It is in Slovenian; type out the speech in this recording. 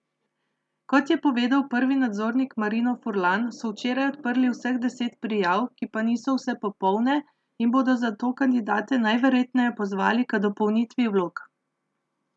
Kot je povedal prvi nadzornik Marino Furlan, so včeraj odprli vseh deset prijav, ki pa niso vse popolne in bodo zato kandidate najverjetneje pozvali k dopolnitvi vlog.